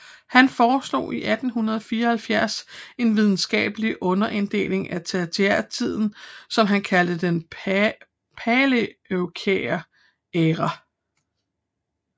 Han foreslog i 1874 en videnskabelig underinddeling af tertiærtiden som han kaldte den paleocæne æra